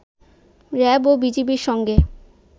RAB ও বিজিবির সঙ্গে